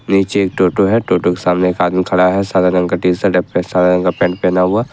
नीचे एक टोटो है टोटो के सामने एक आदमी खड़ा है सादा रंग का टी शर्ट पे सदा रंग का पैंट पहना हुआ।